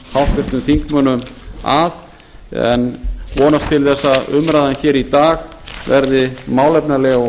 háttvirtum þingmönnum að en vonast til þess að umræðan hér í dag verði málefnaleg og